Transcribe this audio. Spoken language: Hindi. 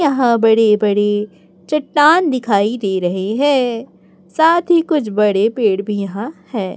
यहां बड़े बड़े चट्टान दिखाई दे रहे हैं साथ ही कुछ बड़े पेड़ भी यहां हैं।